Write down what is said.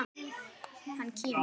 Hann kímir.